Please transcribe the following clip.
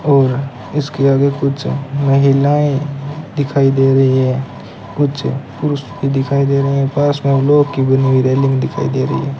और इसके आगे कुछ महिलाएं दिखाई दे रही हैं कुछ पुरुष भी दिखाई दे रहे हैं पास में लोहे की बनी हुई रेलिंग दिखाई दे रही है।